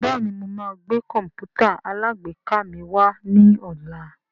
Bẹ́ẹ̀ni mo máa gbé Kọ̀m̀pútà alágbèéká mi wá ní ọ̀la